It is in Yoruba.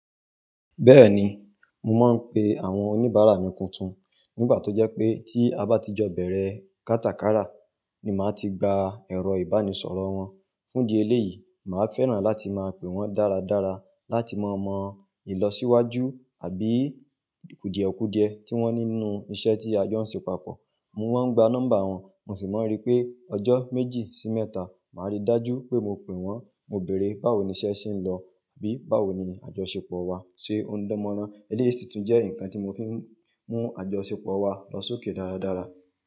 Bẹ́ẹ̀ni, mo máa ń pe àwọn oníbàárà mi tuntun. Nígbà tó jẹ́ pé tí a bá ti jọ bẹ̀rẹ̀ kátakárà ni màá ti gba èrọ ìbánisọ̀rọ̀ wọ́n. Fún di eléyìí, màá fẹ́ràn láti máa pe wọ́n dáradára láti mọ̀ mọ̀ ìlọsíwájú àbí kùdiekùdie tí wọ́n ní inú iṣẹ́ tí a jọ ń ṣe papọ̀. Mo máa ń gba nọ́mbà wọn, mo sì máa ń rí i pé ọjọ́ méjì sí mẹ́ta màá rí dájú pé mo pè wọ́n, mo bèèrè báwo ni iṣẹ́ ṣe ń lọ àbí báwo ni àjọṣepọ̀ wa ṣe ń dánmọ́nrán. Eléyìí sì tún jẹ́ nǹkan tí mo fi ń mú àjọṣepọ̀ wa lọ sókè dáradára.